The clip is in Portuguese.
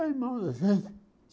É irmão da gente.